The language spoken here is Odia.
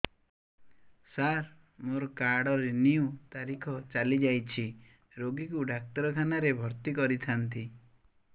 ସାର ମୋର କାର୍ଡ ରିନିଉ ତାରିଖ ଚାଲି ଯାଇଛି ରୋଗୀକୁ ଡାକ୍ତରଖାନା ରେ ଭର୍ତି କରିଥାନ୍ତି